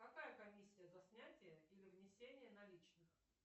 какая комиссия за снятие или внесение наличных